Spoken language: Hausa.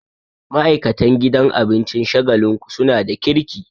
Ma'aikatan gidan abincin Shagalinku suna da kirki